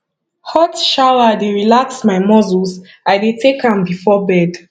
hot shower dey relax my muscles i dey take am before bed